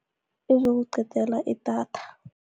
Izokuqedela idatha.